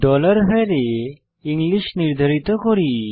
var এ English নির্ধারিত করি